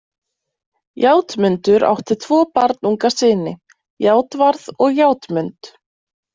Játmundur átti tvo barnunga syni, Játvarð og Játmund.